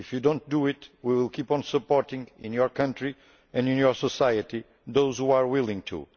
If you do not do so, we will keep on supporting those in your country and in your society who are willing to.